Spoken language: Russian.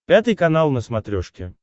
пятый канал на смотрешке